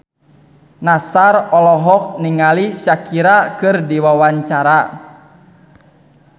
Nassar olohok ningali Shakira keur diwawancara